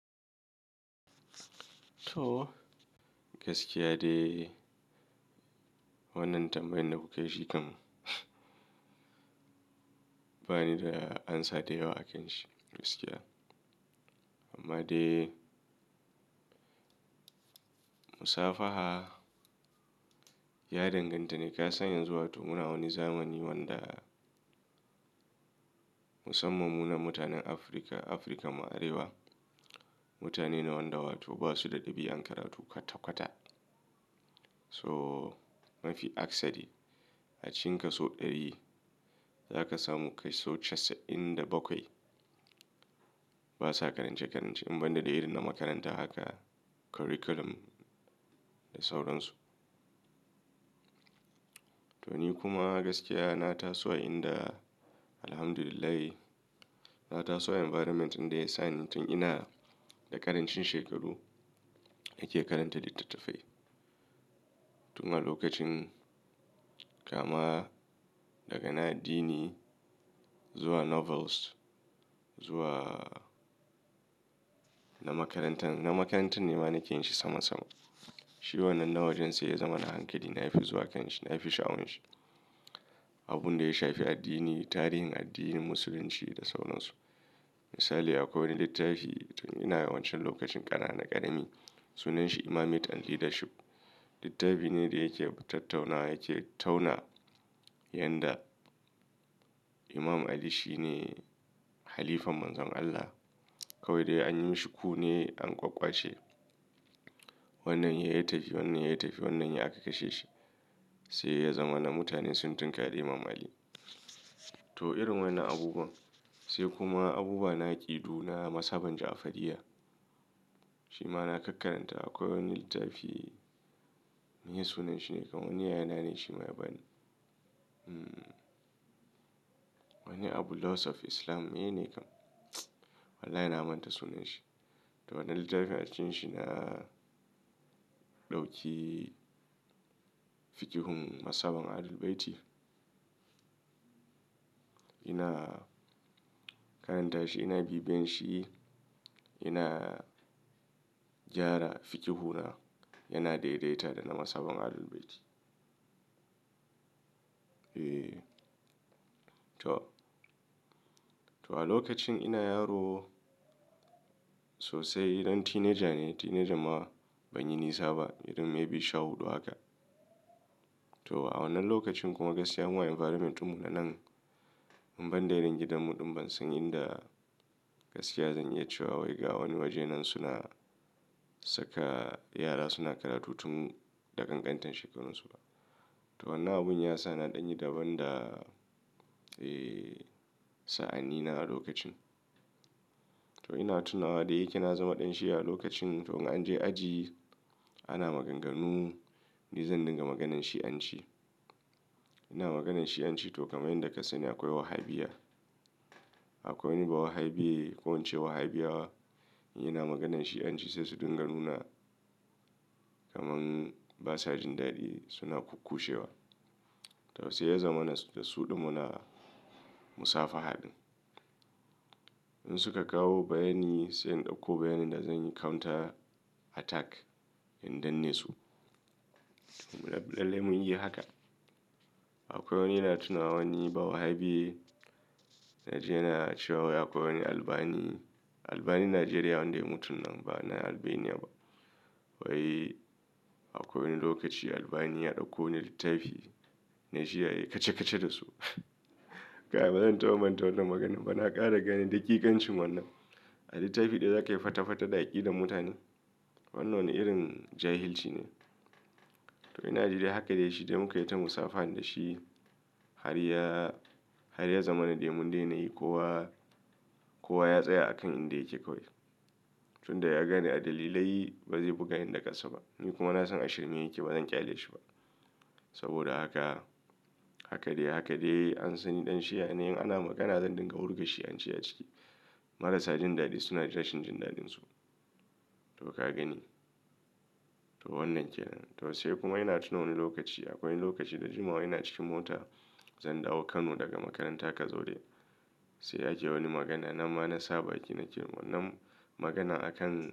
To gaskiya dai wannan tambayan da kuka yi shi kam. Bani da amsa da yawa a kanshi gaskiya. Amma dai, musafaha ya danganta ne kasan yanzu wato muna wani zamani wanda musamman mu naj mutanen Afrika, Afirkan ma arewa, mutane wanda ba su da ɗabi'an karatu kwata kwata. To mafi aksari a cikin kaso ɗari zaka samu kaso casa'in da bakwai basa karance-karance in banda dai irin na makaranta haka curriculum da sauransu. To ni kuma gaskiya na taso a inda Alhamdulillahi, na taso a environment ɗin da yasa ni tun ina da ƙarancin shekaru nake karanta littattafai. Tun a lokacin kama daga na addini zuwa novels zuwa na makarantan, na makarantan ne ma nake yin shi sama sama. Shi wannan na wajen sai ya zama na hankali. Nafi zuwa kanshi, nafi sha'awanshi. Abunda ya shafi addini, tarihin addinin musulunci da sauransu. Misali akwai wani littafi tun ina wan can lokacin ƙanan ƙarami sunanshi Imamate and Leadership. Littafi ne da yake tattaunawa, yake tauna yanda Imam Ali shine halifan Manzon Allah. Kawai dai anyi mishi coup ne an ƙwaƙƙwa ce. Wannan yayi ya tafi wannan yayi ya tafi wannan sai aka kashe shi. Sai ya zamana mutane sun tunƙari Imam Ali. To irin waƴannan abubuwan. Sai kuma abubuwa na aƙidu na mazhaban Jafariya. Shima na kakkarants. Akwai wani littafi, meye sunan shi ne? Kan wani yaya na ne shima ya bani. Wani abu Laws of Islam menene kam. Wallahi na manta sunan shi. To wannan littafin a cikin shi na ɗauki fiƙihun mazhaban Ahlul Bayti. Ina karanta shi, ina bibiyan shi, ina gyara fikihu na, yana daidaita da na mazhaban Ahlul Bayti. E to, to a lokacin ina yaro sosai dan teenager ne, teenager ma ban yi nisa ba irin maybe sha huɗu haka. To a wannan lokacin kuma gaskiya mu a environment ɗin mu na nan, in banda irin gidanmu ɗin ban san inda gaskiya zan iya cewa wai ga wani waje nan suna saka yara suna karatu tun da ƙanƙantan shekarun su ba. To wannan abun yasa na ɗan yi daban da, e sa'anni na a lokacin. To ina tunawa, da yake na zama ɗan Shi'a a lokacin to in an je aji ana maganganu, ni zan dinga maganan Shi'anci. Ina maganan Shi'anci to kamar yanda ka sani akwai Wahabiyya. Akwai wani bawahabiye ko in ce Wahabiyawa in ina maganan Shi'anci sai su dinga nuna kaman basa jin daɗi suna kukkushewa. To sai ya zamana da su ɗin muna musafaha ɗin. In suka kawo bayani sai in ɗauko bayanin da zanyi counter attack in danne su. To lalle mun yi haka. Akwai wani ina tunawa wani bawahabiye Naji yana cewa akwai wani Albani, Albani na Najeriya wanda ya mutun nan ba na Albania ba. Wai akwai wani lokaci Albani ya ɗauko wani littafi Naji yayi kaca-kaca da su. Ba zan taɓa manta wannan maganan ba, na ƙara ganin daƙiƙancin wannan. A littafi ɗaya zaka yi fata-fata da aƙidar mutane? Wannan irin jahilci ne. To ina ji dai haka dai shi ɗayi muka yi ta musafahan da shi har ya, har ya zamana dai mun daina yi. Kowa, kowa ya tsaya a kan inda yake kawai. Tunda ya gane a dalilai ba zai buga ni da ƙasa ba. Ni kuma na san ashirme yake ba zan ƙyale shi ba. Sabida haka, haka dai haka dai an san ni ɗan Shi'a ne, in ana magana zan dinga wurga Shi'anci a ciki. Marasa jin daɗi suna ta rashin jin daɗinsu. To ka gani? To wannan kenan. To sai kuma ina tuna wani lokaci akwai wani lokaci da jimawa ina cikin mota zan dawo Kano daga makaranta Kazaure. Sai ake wani magana nan ma na sa baki nace wannan magana a kan.